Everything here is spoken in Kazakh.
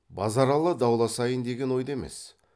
базаралы дауласайын деген ойда емес